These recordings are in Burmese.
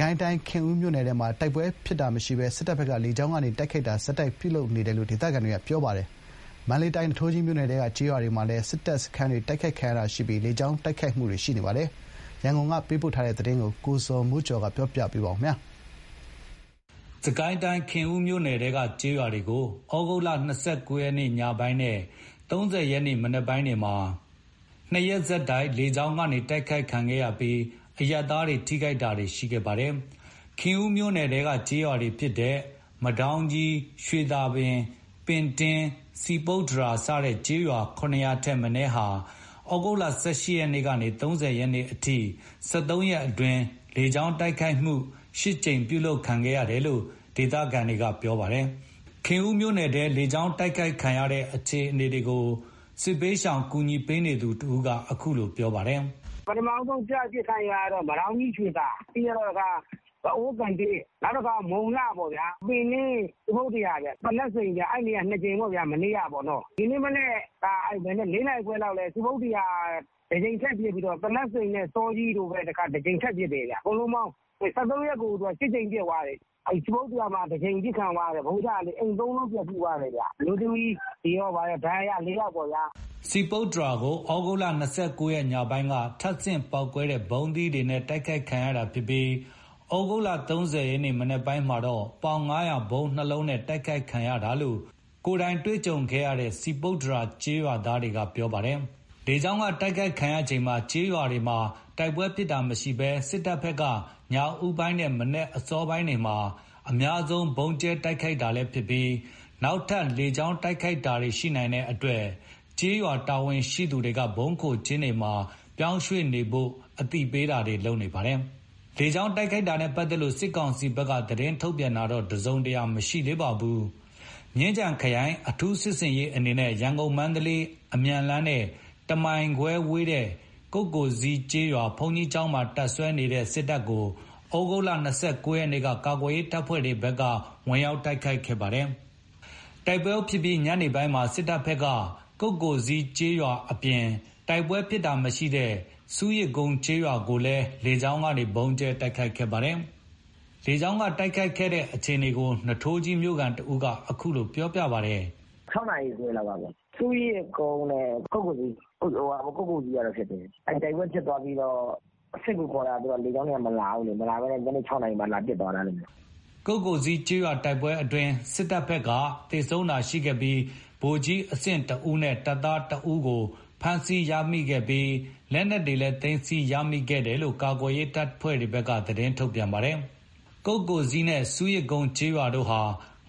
ကိုင်းတိုင်း ခင်ဦးမြို့နယ်ထဲမှာ တိုက်ပွဲဖြစ်တာမရှိဘဲ စစ်တပ်က လေကြောင်းကနေ တိုက်ခိုက်တာတွေ ဆက်တိုက်ပြုလုပ်နေတယ်လို့ ဒေသခံတွေက ပြောပါတယ်။ မန္တလေးတိုင်း နွားကြီးမြို့နယ်ထဲက ကျေးရွာတွေမှာလည်း စစ်တပ်စခန်းတွေ တိုက်ခိုက်ခံရတာရှိပြီး လေကြောင်းတိုက်ခိုက်မှုတွေ ရှိနေပါတယ်။ ရန်ကုန်ကပေးပို့ထားတဲ့သတင်းကို-ကိုဇော်မိုးကျော်ကပြောပြပါမယ်။ စစ်ကိုင်းတိုင်း ခင်ဦးမြို့နယ်ထဲက ကျေးရွာတွေကို သြဂုတ် ၂၉ ရက် ညပိုင်းနဲ့ ၃၀ ရက်မနက်ပိုင်းတို့မှာ ၂ ရက် ဆက်တိုက် လေကြောင်းတိုက်ခိုက်ခံခဲ့ရပြီး အရပ်သားတွေ ထိခိုက်တာတွေ ရှိခဲ့ပါတယ်။ ခင်ဦးမြို့နယ်ထဲက မဒေါင်းကြီး၊ ရွှေသာ၊ ပင်တင်း၊ စည်ပုတ္တရာ စတဲ့ရွာတွေအပါအဝင် ကျေးရွာ ၇ ရွာထက်မနည်းကိုသြဂုတ် ၁၈ ရက်ကနေ ၃၀ ရက်အထိ ၁၃ ရက်အတွင်း လေကြောင်းကနေ ၈ ကြိမ်တိုက်ခိုက်ခဲ့တယ်လို့ဒေသခံတွေကပြောပါတယ်။ ဒီအခြေအနေတွေကို အခြေအနေတွေကို စစ်ဘေးဒုက္ခသည်တွေကိုကူညီနေသူ တဦးက အခုလို ပြောပါတယ်။ "ပထမဆုံးပစ်ခံရတာ မဒေါင်းကြီး၊ ရွှေသာ ပြီးတော့ ဘအိုး၊ မုံလှ၊ ပင်တင်း နောက်တခါ စည်ပုတ္တရာနဲ့ သနပ်စိန်က ၂ ကြိမ်ပေါ့။ မနေ့ကပေါ့။ ဒီကနေ့မနက် ၄ နာရီခွဲလောက်မှာ စည်ပုတ္တရာကို ၁ ကြိမ် ထပ်ပစ်ပြီးတော့၊ သနပ်စိန်နဲ့ စောကြီးကို ၁ ကြိမ်ထပ်ပစ်တယ်။ ၁၃ ရက်ကို ၈ ကြိမ် ပစ်သွားတယ်။ စည်ပုတ္တရာမှာ ၁ ကြိမ် ပစ်ခံရတာ အိမ် ၃ လုံး ပျက်စီးသွားတယ်။ အမျိုးသမီးတွေဘာတွေကော ဒဏ်ရာရ ၄ ယောက်ပေါ့။" စည်ပုတ္တရာကို သြဂုတ် ၂၉ ရက်ညပိုင်းက ထပ်ဆင့်ပေါက်ကွဲတဲ့ ဗုံးသီးတွေနဲ့တိုက်ခိုက်ခံရတာဖြစ်ပြီး သြဂုတ် ၃၀ မနက်ပိုင်းမှာတော့ ပေါင် ၅၀၀ ဗုံး ၂ လုံးနဲ့ တိုက်ခိုက်ခံရတယ်လို့ ကိုယ်တိုင်ကြုံတွေ့ခဲ့တဲ့ စည်ပုတ္တရာ ကျေးရွာသားတွေက ပြောပါတယ်။ လေကြောင်းက တိုက်ခိုက်ခံရချိန် ကျေးရွာတွေမှာတိုက်ပွဲဖြစ်တာမရှိဘဲ စစ်တပ်ဘက်ကညဦးပိုင်းနဲ့ မနက်အစောပိုင်းတွေမှာ အများဆုံးဗုံးကြဲတိုက်ခိုက်ပါတယ်။ နောက်ထပ်လည်းလေကြောင်းတိုက်ခိုက်တာတွေခံရရှိနိုင်တဲ့အတွက် ဗုံးခိုကျင်းတွေမှာ ပြောင်းရွှေ့နေဖို့ ကျေးရွာတာဝန်ရှိသူတွေကအသိပေးတာတွေလုပ်နေပါတယ်။ လေကြောင်းတိုက်ခိုက်တာနဲ့ ပတ်သက်လို့ စစ်ကောင်စီဘက်က သတင်းထုတ်ပြန်တာ တစုံတရာတော့ မရှိသေးပါဘူး။ မြင်းခြံခရိုင် အထူးစစ်ဆင်ရေးအနေနဲ့ ရန်ကုန်-မန္တလေး အမြန်လမ်းနဲ့ ၁ မိုင်ခွဲအဝေးက ကုက္ကိုဇီးကျေးရွာ ဘုန်းကြီးကျောင်းမှာ တပ်စွဲနေတဲ့ စစ်တပ်ကို သြဂုတ် ၂၉ ရက်က ကာကွယ်ရေးတပ်ဖွဲ့တွေဘက်ကဝင်ရောက်တိုက်ခိုက်ခဲ့တာပါ။ တိုက်ပွဲဖြစ်ပြီး ညနေပိုင်းမှာ စစ်တပ်ဘက်က တိုက်ပွဲဖြစ်ခဲ့တဲ့ ကုက္ကိုဇီးကျေးရွာနဲ့ တိုက်ပွဲမဖြစ်တာမရှိတဲ့ ဆူးရစ်ကုန်းကျေးရွာကို လေကြောင်းကနေ ဗုံးကြဲတိုက်ခိုက်ခဲ့ပါတယ်။ လေကြောင်းတိုက်ခိုက်ခံရတဲ့အခြေအနေကို နွားထိုးကြီးမြို့ခံတဦးက အခုလို ပြောပါတယ်။ "၆ နာရီခွဲလောက်က ဆူးရစ်ကုန်းနဲ့ ကုက္ကိုဇီး။ ကုက္ကိုဇီးကတော့ (တိုက်ပွဲ) ဖြစ်တယ်။ တိုက်ပွဲဖြစ်တော့ စစ်ကူခေါ်တာ လေကြောင်းတွေက မလာဘူးလေ။ မလာဘဲနဲ့ ညနေ ၆ နာရီမှ(လေကြောင်းက) လာပစ်သွားတာ။" ကုက္ကိုဇီးကျေးရွာတိုက်ပွဲအတွင်း စစ်တပ်ဘက်က သေဆုံးတာရှိခဲ့ပြီး ဗိုလ်ကြီးအဆင့် ၁ ဦးနဲ့ တပ်သား ၁ ဦးတို့ကို ဖမ်းဆီးရမိခဲ့ပါတယ်။ လက်နက်ခဲယမ်းတွေလည်း သိမ်းဆည်းရမိခဲ့တယ်လို့ ကာကွယ်ရေး တပ်ဖွဲ့တွေက သတင်းထုတ်ပြန်ထားပါတယ်။ ကုက္ကိုဇီးနဲ့ ဆူးရစ်ကုန်းကျေးရွာတို့ဟာ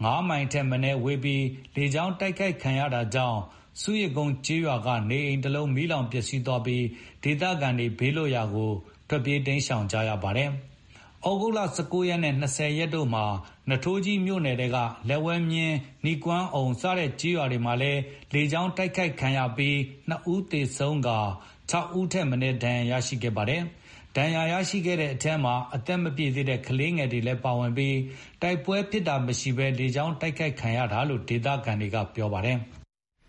၅ မိုင်ထက်မနည်းဝေးပြီး လေကြောင်းတိုက်ခိုက်ခံရတာကြောင့် ဆူးရစ်ကုန်းကျေးရွာက နေအိမ် တလုံးမီးလောင်ပျက်စီးသွားပြီး ဒေသခံတွေ ဘေးလွတ်ရာ တိမ်းရှောင်နေကြပါတယ်။ သြဂုတ် ၁၉ ရက်နဲ့ ၂၀ ရက်တို့မှာ နွားထိုးကြီးမြို့နယ်ထဲက လက်ဝဲမြင်း၊ နီကွမ်းအုံ စတဲ့ကျေးရွာတွေမှာလည်း လေကြောင်းတိုက်ခိုက်ခံခဲ့ရပြီး ၂ ဦးသေဆုံးကာ ၆ ဦးထက်မနည်း ဒဏ်ရာရရှိခဲ့ပါတယ်။ ဒဏ်ရာရတဲ့ထဲမှာ ကလေးတွေလည်းပါဝင်ပြီး တိုက်ပွဲဖြစ်တာမရှိဘဲ လေကြောင်းတိုက်ခိုက်ခံရတာလို့ ဒေသခံတွေက ပြောပါတယ်။